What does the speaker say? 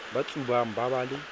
ba tsubang ba ba le